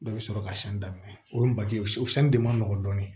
Dɔ bɛ sɔrɔ ka sɛn daminɛ o ye bagaji ye o de man nɔgɔn dɔɔnin